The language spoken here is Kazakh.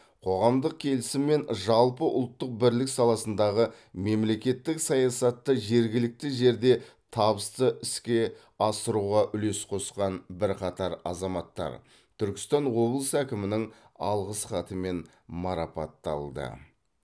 қоғамдық келісім мен жалпыұлттық бірлік саласындағы мемлекеттік саясатты жергілікті жерде табысты іске асыруға үлес қосқан бірқатар азаматтар түркістан облысы әкімінің алғыс хатымен марапатталды